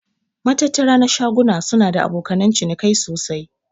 Matattara na shaguna suna da abokanan cinikai sosai.